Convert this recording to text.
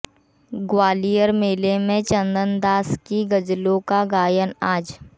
ग्वालियर मेले में चन्दन दास की गज़लों का गायन आज